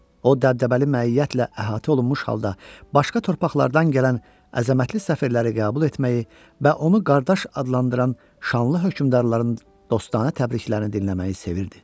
O dəbdəbəli məiyyətlə əhatə olunmuş halda başqa torpaqlardan gələn əzəmətli səfirləri qəbul etməyi və onu qardaş adlandıran şanlı hökmdarların dostanə təbriklərini dinləməyi sevirdi.